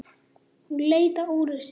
Hún leit á úrið sitt.